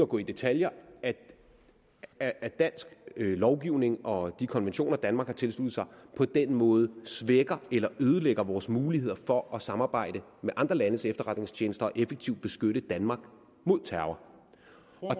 gå i detaljer at at dansk lovgivning og de konventioner danmark har tilsluttet sig på den måde svækker eller ødelægger vores muligheder for at samarbejde med andre landes efterretningstjenester og effektivt beskytte danmark mod terror